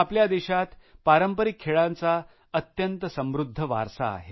आपल्या देशात पारंपरिक खेळांचा अत्यंत समृद्ध वारसा आहे